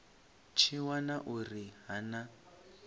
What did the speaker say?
tshi wana uri ha na